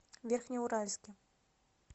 верхнеуральске